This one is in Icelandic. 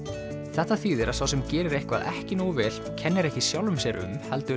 þetta þýðir að sá sem gerir eitthvað ekki nógu vel kennir ekki sjálfum sér um heldur